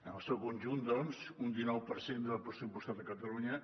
en el seu conjunt doncs un dinou per cent del pressupostat a catalunya